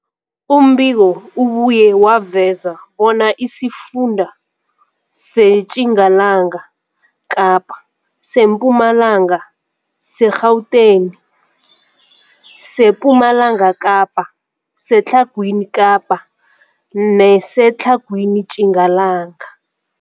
Umbiko ubuye waveza bona isifunda seTjingalanga Kapa, seMpumalanga, seGauteng, sePumalanga Kapa, seTlhagwini Kapa neseTlhagwini Tjingalanga.